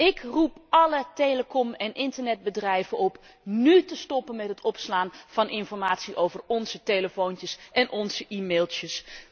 Ik roep alle telecom en internetbedrijven op nu te stoppen met het opslaan van informatie over onze telefoontjes en onze e mailtjes.